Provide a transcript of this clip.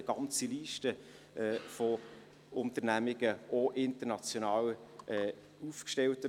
Sie haben diesem Kredit zugestimmt mit 127 Ja- bei 0 Nein-Stimmen und 13 Enthaltungen.